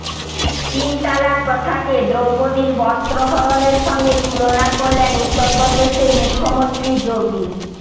তিন তালাক প্রথাকে দ্রৌপদীর বস্ত্রহরণের সঙ্গে তুলনা করলেন উত্তরপ্রদেশের মুখ্যমন্ত্রী যোগী